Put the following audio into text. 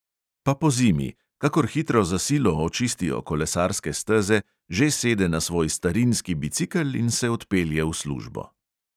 Pa pozimi – kakor hitro za silo očistijo kolesarske steze, že sede na svoj starinski bicikel in se odpelje v službo.